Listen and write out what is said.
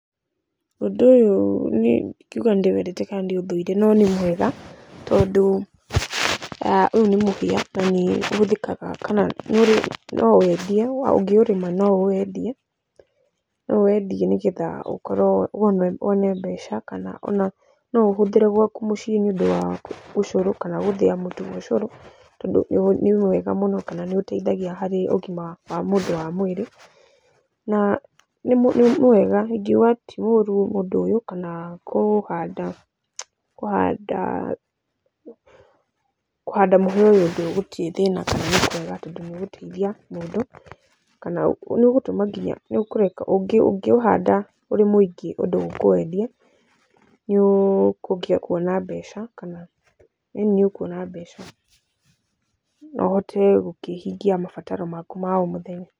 Ũndũ ũyũ ndingiuga nĩ ndĩwendete kana nĩ ndĩ ũthũire no nĩ mwega tondũ ũyũ nĩ muhĩa na nĩ ũhũthĩkaga kana no wendio. Ũngi ũrĩma no wendie nĩ getha ũkorwo wone mbeca kana no ũũ ũhũthĩre gwaku mũciĩ nĩ ũndũ wa ũcũrũ kana gũthĩa mũtu wa ũcũrũ tondũ nĩ mwega mũno kana nĩ ũteithagia ũgima wa mwĩrĩ. Na nĩ mwega ingiuga ti mũru ũndũ ũyũ kana kũhanda, kũhanda mũhĩa ũyũ gũtirĩ thĩna kana nĩ kwega tondũ nĩ ũgũteithia mũndũ. Kana nĩ ũgũtũma nginya, nĩ ũkũreka, ũngĩ ũhanda ũrĩ mũingĩ ũndũ ũkũwendia nĩ ũkũgĩa kuona mbeca kana , ĩĩni nĩ ũkuona mbeca na uhote kũhingia mabataro maku ma o mũthenya.